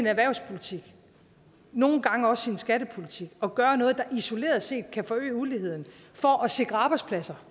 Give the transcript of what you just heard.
erhvervspolitikken og nogle gange også skattepolitikken at gøre noget der isoleret set kan forøge uligheden for at sikre arbejdspladser